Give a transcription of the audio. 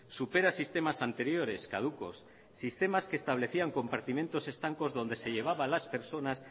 supera sistemas anteriores caducos sistemas que establecían compartimientos estancos donde se llevaba a las personas